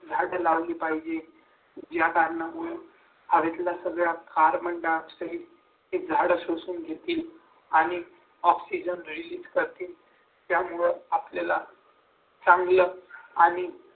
झाड लावली पाहिजे या कारणामुळे हवेतील सगळा carbon die oxide झाडं शोषून घेतील आणि oxygen रिलीज करतील त्यामुळे आपल्याला चांगलं